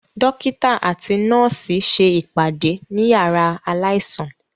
Dókítà àti nọ́ọ̀sì ṣe ìpàdé ní yàrá aláìsàn